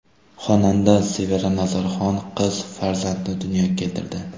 Xonanda Sevara Nazarxon qiz farzandni dunyoga keltirdi.